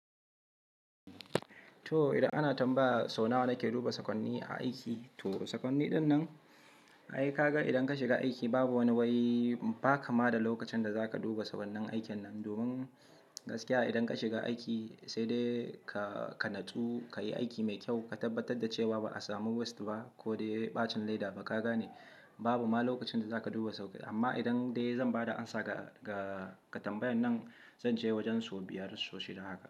To idan ana tambaya sau nawa na ke duba sakonni aiki, to sakonni dinnan, ai ka ga idan ka shiga aiki babu wani wai ba ka ma da lokacin da za ka duba sakonnin aikin nan. Domin gaskiya idan ka shiga aiki sai dai ka natsu, ka yi aiki mai kyau, ka tabbatar da cewa ba a samu wasu ba ko dai ɓacin laifi ba. Ka gane babu ma lokacin da za ka duba sauke. Amma idan dai zan ba da amsa ga tambayar nan, zan ce wajen su biyar sosai dan haka.